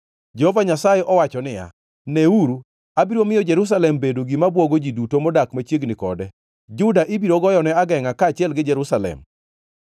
Jehova Nyasaye owacho niya, “Neuru, abiro miyo Jerusalem bedo gima bwogo ji duto modak machiegni kode. Juda ibiro goyone agengʼa, kaachiel gi Jerusalem.